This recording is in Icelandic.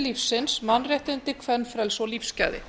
lífsins mannréttindi kvenfrelsi og lífsgæði